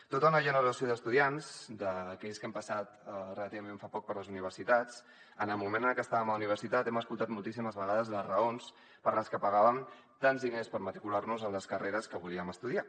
tota una generació d’estudiants d’aquells que hem passat relativament fa poc per les universitats en el moment en el que estàvem a la universitat hem escoltat moltíssimes vegades les raons per les que pagàvem tants diners per matricular nos a les carreres que volíem estudiar